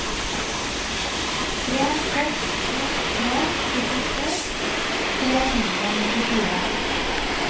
tre seks to tre syttito tre hundre og nittifire